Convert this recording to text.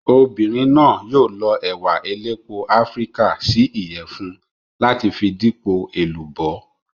Obìnrin náà yóò lọ ẹ̀wà elépo Áfíríkà sí Ìyẹ̀fun láti fi dípò èlùbọ́.